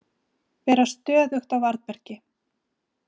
Vera stöðugt á varðbergi.